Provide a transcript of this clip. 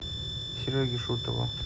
сереге шутову